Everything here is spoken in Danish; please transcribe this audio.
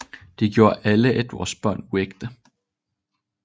Det gjorde alle Edwards børn uægte